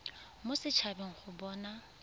mo set habeng go bona